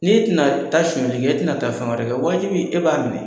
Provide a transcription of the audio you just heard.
N'e tɛna taa suɲɛli kɛ, e tɛna taa fɛn wɛrɛ kɛ waajibi e b'a minɛ?